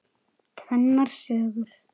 Tvennar sögur.